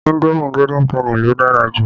Indomi Golden penny lo dára jù